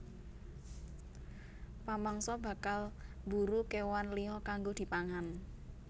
Pamangsa bakal mburu kéwan liya kanggo dipangan